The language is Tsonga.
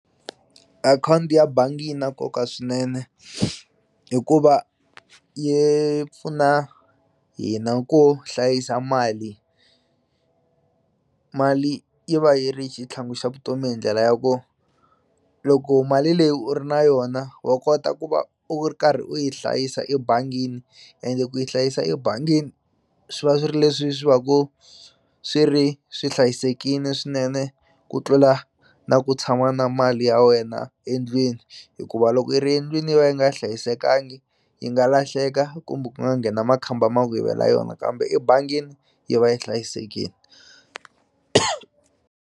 Akhawunti ya bangi yi na nkoka swinene hikuva yi pfuna hina ku hlayisa mali mali yi va yi ri xitlhangu xa vutomi hi ndlela ya ku loko mali leyi u ri na yona wa kota ku va u ri karhi u yi hlayisa ebangini ende ku yi hlayisa ebangini swi va swi ri leswi swi va ku swi ri swi hlayisekini swinene ku tlula na ku tshama na mali ya wena endlwini hikuva loko yi ri endlwini yi va yi nga hlayisekangi yi nga lahleka kumbe ku nga nghena makhamba ma ku yivela yona kambe ebangini yi va yi hlayisekini.